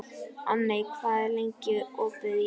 Anney, hvað er lengi opið í Listasafninu?